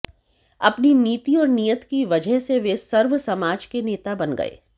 अपनी नीति और नीयत की वजह से वे सर्वसमाज के नेता बन गए